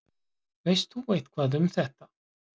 Veist þú eitthvað um þetta?